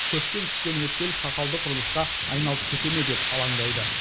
көптен күткен өткел сақалды құрылысқа айналып кете ме деп алаңдайды